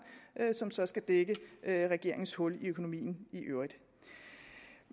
som så skal dække regeringens hul i økonomien